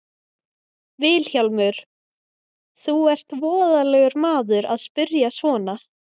VILHJÁLMUR: Þú ert voðalegur maður að spyrja svona.